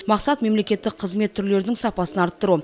мақсат мемлекеттік қызмет түрлерінің сапасын арттыру